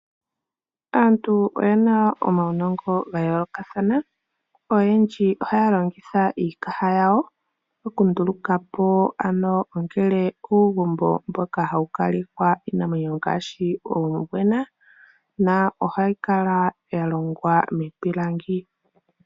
Aantu oyena omaunongo ga yoolokathana, oyendji ohaya longitha iikaha yawo okunduluka po ano ongele uugumbo mboka hawu kala iinamwenyo ngaashi uumbwena na ohayi kala ya longwa miipilangi.